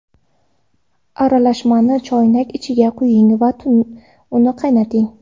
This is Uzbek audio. Aralashmani choynak ichiga quying va uni qaynating.